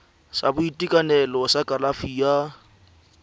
sa boitekanelo sa kalafi ya